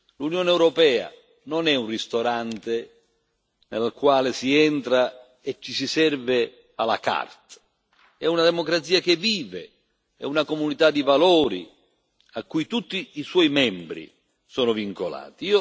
L'Unione europea non è un ristorante, nel quale si entra e ci si serve à la carte ma è una democrazia che vive, è una comunità di valori a cui tutti i suoi membri sono vincolati.